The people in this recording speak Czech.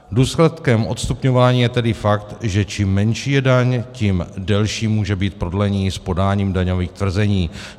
Důsledkem odstupňování je tedy fakt, že čím menší je daň, tím delší může být prodlení s podáním daňových tvrzení.